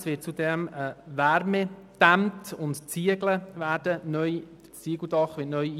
Es wird zudem eine Wärmedämmung installiert, und das Dach wird neu mit Ziegeln besetzt.